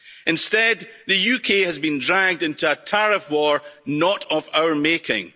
Instead, the UK has been dragged into a tariff war not of our making.